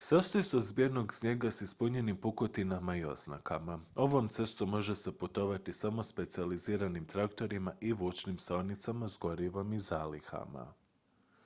sastoji se od zbijenog snijega s ispunjenim pukotinama i oznakama ovom cestom može se putovati samo specijaliziranim traktorima i vučnim saonicama s gorivom i zalihama